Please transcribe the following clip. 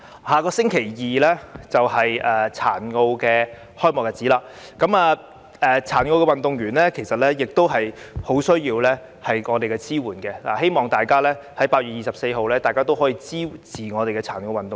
下星期二是殘奧開幕的日子，殘奧運動員其實亦十分需要我們的支援，希望大家可在8月24日支持我們的殘奧運動員。